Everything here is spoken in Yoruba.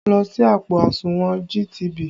Lọ ṣí àpò àsùnwọ̀n GTB!